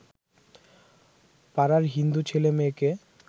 পাড়ার হিন্দু ছেলেমেয়েকে